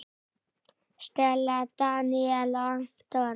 Stella, Daníel og Anton.